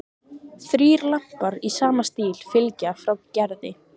Þrír lampar í sama stíl fylgja frá Gerði.